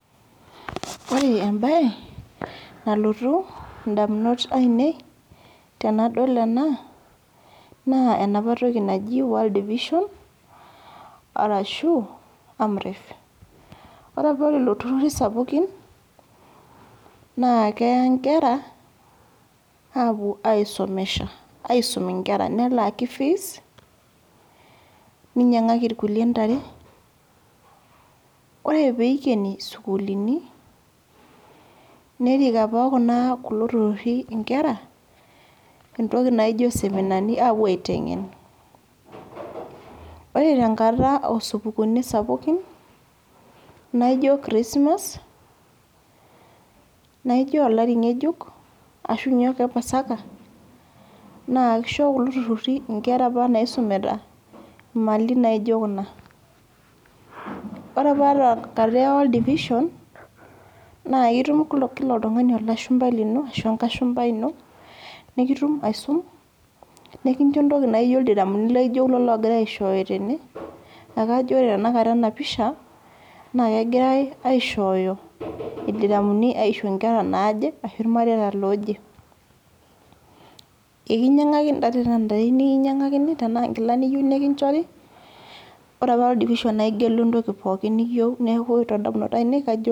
Ore ebae, nalotu indamunot ainei tenadol ena, naa enapa toki naji World Vision, arashu Amref. Ore apa lelo turrurri sapukin, naa keya nkera, apuo aisomesha. Aisum inkera nelaki fees, ninyang'aki irkulie ntare. Ore peikeni sukuulini, nerik apa kuna kulo turrurri inkera, etoki naijo seminani apuo aiteng'en. Ore tenkata osupukuuni sapukin, naijo Christmas, naijo olari ng'ejuk, ashunye ake pasaka, naa kisho kulo turrurri inkera apa naisumita, imali naijo kuna. Ore apa tenkata e World Vision, naa itum kila oltung'ani olashumpai lino, ashu enkashumpai ino, nikitum aisum, nikincho entoki naijo ildiramuni laijo kulo ogirai aishooyo tene, akajo ore tanakata enapisha, na kegirai aishooyo ildiramuni aisho nkera naaje, ashu irmareita looje. Enkinyang'aki ntare tenaa ntare yieu nikinyang'akini, tenaa nkilani yieu nikinchori, ore apa World Vision naa igelu entoki pookin niyieu, neeku todamunot ainei kajo